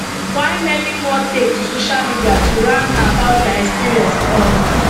while many more take to social media to rant about dia experience um